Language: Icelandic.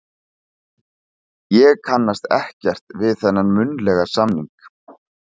Ég kannast ekkert við þennan munnlega samning.